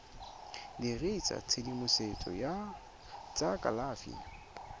dirisa tshedimosetso ya tsa kalafi